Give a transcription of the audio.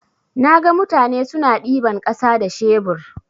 Naga mutane suna ɗiban ƙasa da shebur.